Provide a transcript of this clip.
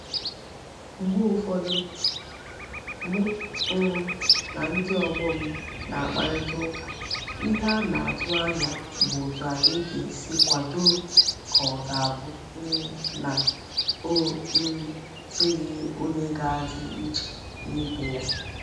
Mgbe ufodu mu um na ndi ogbo m na-akparita uka ihe a na-atu anya bu otu anyi ga-esi kwado ka o ga-abu um na o um dighi onye ga-adi iche nibe ya